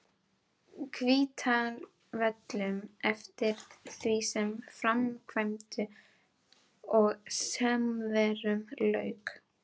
Hvítárvöllum eftir því sem framkvæmdum og sumarverkum lauk.